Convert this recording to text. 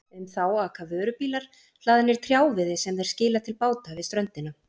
Um þá aka vörubílar hlaðnir trjáviði sem þeir skila til báta við ströndina.